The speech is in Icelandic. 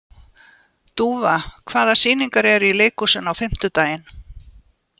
Dúfa, hvaða sýningar eru í leikhúsinu á fimmtudaginn?